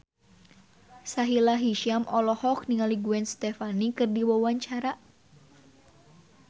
Sahila Hisyam olohok ningali Gwen Stefani keur diwawancara